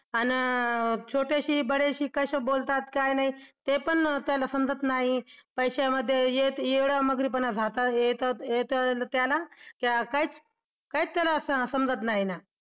अन छोट्याशी बड्याशी कसं बोलतात काय नाही तेपण त्याला समजत नाही. पैशामध्ये एवढा मग्रीपणा येतो येतो त्याला काहीच त्याला समजत नाही.